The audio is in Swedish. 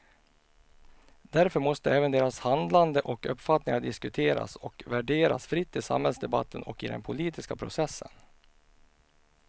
Därför måste även deras handlande och uppfattningar diskuteras och värderas fritt i samhällsdebatten och i den politiska processen.